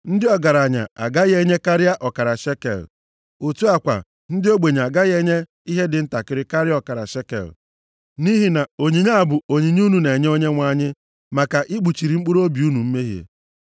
Ndị ọgaranya agaghị enye karịa ọkara shekel. Otu a kwa ndị ogbenye agaghị enye ihe dị ntakịrị karịa ọkara shekel. Nʼihi na onyinye a bụ onyinye unu na-enye Onyenwe anyị maka ikpuchiri mkpụrụobi unu mmehie.